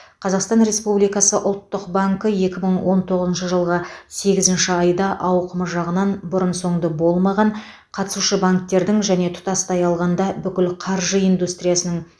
қазақстан республикасы ұлттық банкі екі мың он тоғызыншы жылғы сегізінші айда ауқымы жағынан бұрын соңды болмаған қатысушы банктердің және тұтастай алғанда бүкіл қаржы индустриясының